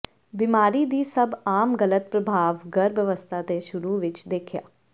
ਬਿਮਾਰੀ ਦੀ ਸਭ ਆਮ ਗਲਤ ਪ੍ਰਭਾਵ ਗਰਭ ਅਵਸਥਾ ਦੇ ਸ਼ੁਰੂ ਵਿਚ ਦੇਖਿਆ